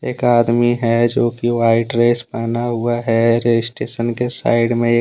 एक आदमी है जो कि व्हाइट ड्रेस पहना हुआ है रजिस्ट्रेशन के साइड में एक--